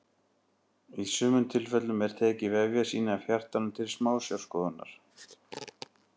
í sumum tilfellum er tekið vefjasýni af hjartanu til smásjárskoðunar